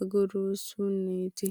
argiisunniiti.